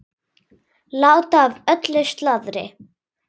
Láta af öllu slaðri.